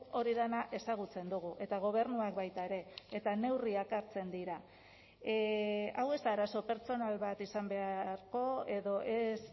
hori dena ezagutzen dugu eta gobernuak baita ere eta neurriak hartzen dira hau ez da arazo pertsonal bat izan beharko edo ez